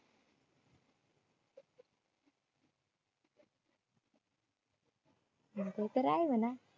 म्हणतोय तर आहे म्हना